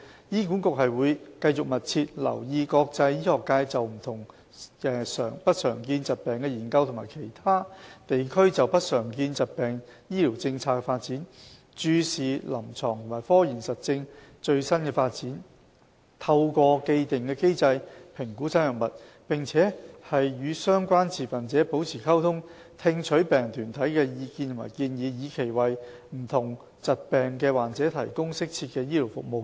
醫管局會繼續密切留意國際醫學界就不常見疾病的研究和其他地區就不常見疾病醫療政策的發展；注視臨床和科研實證的最新發展，透過既定機制評估新藥物；並與相關持份者保持溝通，聽取病人團體的意見和建議，以期為不同疾病的患者提供適切的醫療服務。